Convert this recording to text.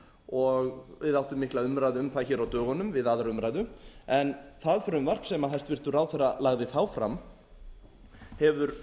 og við áttum mikla umræðu um það hér á dögunum við aðra umræðu en það frumvarp sem hæstvirtur ráðherra lagði þá fram hefur